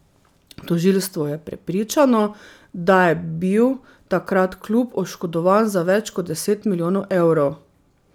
Tožilstvo je prepričano, da je bil takrat klub oškodovan za več kot deset milijonov evrov.